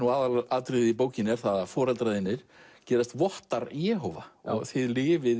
aðalatriðið í bókinni er að foreldrar þínir gerast vottar Jehóva og þið lifið